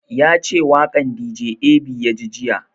Ya ce waƙan dj ab ya ji jiya